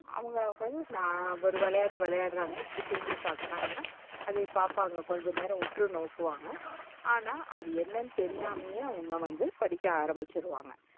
அவங்க வந்து ஒரு விளையாட்டு விளையாடுறாங்க இப்டி திரும்பி பாக்குறாங்க. அத இப்ப அங்க கொஞ்ச நேரம் உற்றுநோக்குவாங்க. ஆனா, அது என்னான்னு தெரியாமையே அவங்க வந்து படிக்க ஆரம்பிச்சுடுவாங்க.